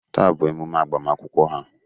Taa bụ emume agbamakwụkwọ ha.